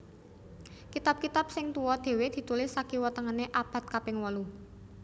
Kitab kitab sing tuwa dhéwé ditulis sakiwa tengené abad kaping wolu